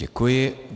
Děkuji.